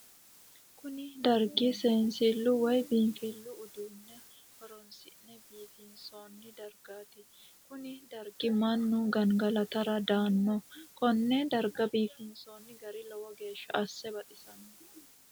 Kunni dargi seensilu woyi biinfilu uduunne horoonsi'ne biifinsoonni dargaati konni dargira Manu gangalatara daano. Konne darga biifinsoonni gari lowo geesha ase baxisano.